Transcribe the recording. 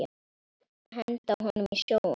Henda honum í sjóinn!